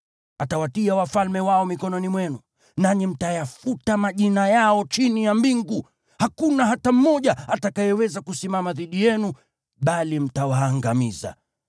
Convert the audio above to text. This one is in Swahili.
Atawatia wafalme wao mikononi mwenu, nanyi mtayafuta majina yao chini ya mbingu. Hakuna hata mmoja atakayeweza kusimama dhidi yenu bali mtawaangamiza.